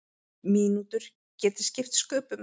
Mínútur geti skipt sköpum.